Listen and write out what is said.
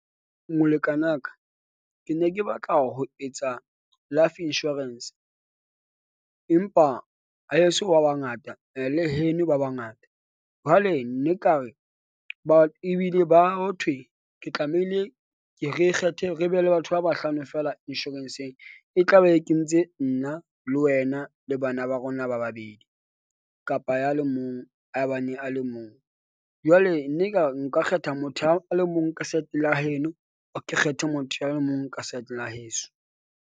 Molekanaka ke ne ke batla ho etsa life insurance empa haeso ba bangata le heno ba bangata. Jwale ne nkare ba ebile ba ho thwe. Ke tlamehile ke re kgethe re be le batho ba bahlano fela insurance-ng. E tla be e kentse nna le wena le bana ba rona ba babedi, kapa ya le mong a bane a le mong. Jwale ne nka nka kgetha motho a le mong ka side la heno, ke kgethe motho a le mong ka side la heso.